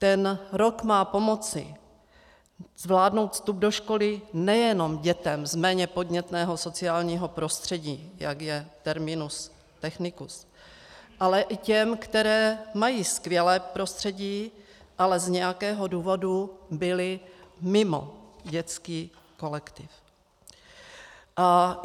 Ten rok má pomoci zvládnout vstup do školy nejenom dětem z méně podnětného sociálního prostředí, jak je terminus technicus, ale i těm, které mají skvělé prostředí, ale z nějakého důvodu byly mimo dětský kolektiv.